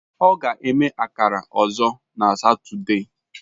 Ọ ga-eme akara ọzọ na Satọde.